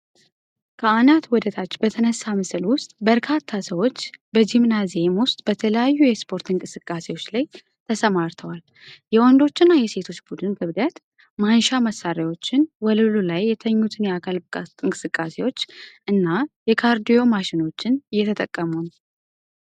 ከአናት ወደታች በተነሳ ምስል ውስጥ፣ በርካታ ሰዎች በጂምናዚየም ውስጥ በተለያዩ የስፖርት እንቅስቃሴዎች ላይ ተሰማርተዋል። የወንዶችና የሴቶች ቡድን ክብደት ማንሻ መሳሪያዎችን፣ ወለሉ ላይ የተኙትን የአካል ብቃት እንቅስቃሴዎች እና የካርዲዮ ማሽኖችን እየተጠቀሙ ነው።